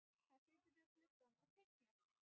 Hann situr við gluggann og teiknar.